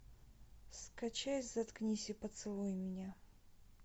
скачай заткнись и поцелуй меня